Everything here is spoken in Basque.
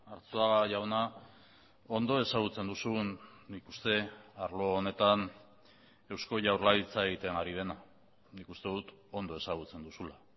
arzuaga jauna ondo ezagutzen duzun nik uste arlo honetan eusko jaurlaritza egiten ari dena nik uste dut ondo ezagutzen duzula